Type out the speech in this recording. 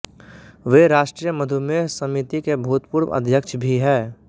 वे राष्त्रीय महुमेह समिति के भूतपूर्व अध्यक्ष भी है